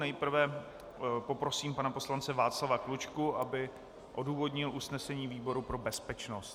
Nejprve poprosím pana poslance Václava Klučku, aby odůvodnil usnesení výboru pro bezpečnost.